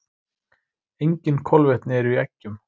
Engin kolvetni eru í eggjum.